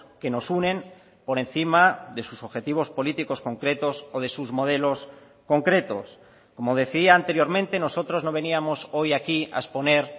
que nos unen por encima de sus objetivos políticos concretos o de sus modelos concretos como decía anteriormente nosotros no veníamos hoy aquí a exponer